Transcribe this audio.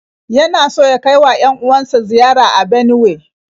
Yana so ya kai wa 'yan-uwan sa ziyara a Benuwe.